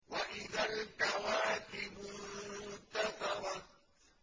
وَإِذَا الْكَوَاكِبُ انتَثَرَتْ